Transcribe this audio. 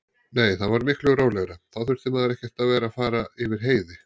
Nei, það var miklu rólegra, þá þurfti maður ekkert að vera að fara yfir heiði.